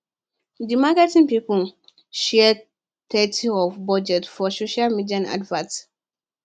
the marketing people share thirty of budget for social media adverts